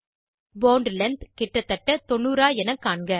bond length கிட்டத்தட்ட 90 ஆ என காண்க